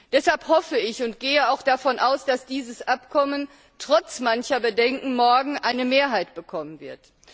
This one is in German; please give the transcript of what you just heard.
Deshalb hoffe ich und gehe auch davon aus, dass dieses Abkommen trotz mancher Bedenken morgen eine Mehrheit bekommen wird.